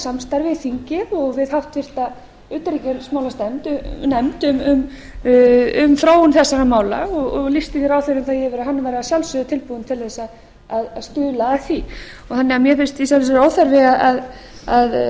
samstarf við þingið og við háttvirtri utanríkismálanefnd um þróun þess mála og lýsti ráðherrann því yfir að hann væri að sjálfsögðu tilbúinn til þess að stuðla að því mér finnst því í sjálfu sér óþarfi að vera